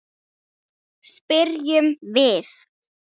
spyrjum við.